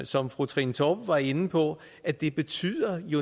som fru trine torp var inde på at det betyder